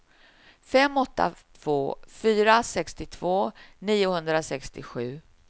fem åtta två fyra sextiotvå niohundrasextiosju